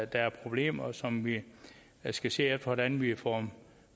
der er problemer som vi skal se hvordan vi får